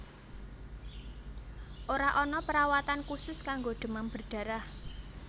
Ora ana perawatan khusus kanggo demam berdarah